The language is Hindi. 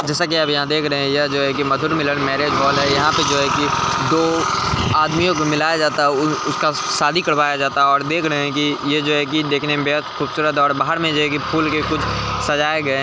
जैसा की आप यहाँ देख रहे हैं यह जो है की मधुर मिलन मेरिज हॉल है यहाँ पर जो है की दो आदमियों को मिलाया जाता है और उसका शादी करवाया जाता है और देख रहे हैं की ये जो है की देखने में बेहद खूबसूरत और बाहर में जो है की फूल के कुछ सजाए गए हैं।